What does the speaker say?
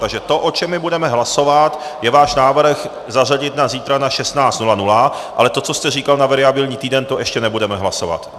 Takže to, o čem my budeme hlasovat, je váš návrh zařadit na zítra na 16.00, ale to, co jste říkal na variabilní týden, to ještě nebudeme hlasovat.